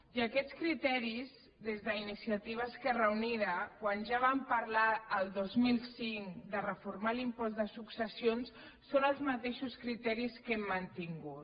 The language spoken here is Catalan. i aquests criteris des d’iniciativa esquerra unida quan ja vam parlar el dos mil cinc de reformar l’impost de successions són els mateixos criteris que hem mantingut